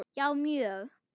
Já, mjög